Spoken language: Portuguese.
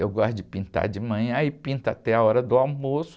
Eu gosto de pintar de manhã e pinto até a hora do almoço.